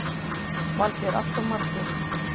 Valgeir: Alltof margir?